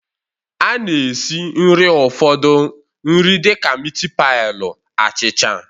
A na-esi nri ụfọdụ nri dịka miti pailu, achicha